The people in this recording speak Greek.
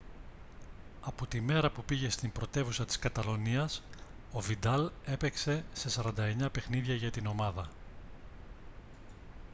από τη μέρα που πήγε στην πρωτεύουσα της καταλονίας ο βιντάλ έπαιξε σε 49 παιχνίδια για την ομάδα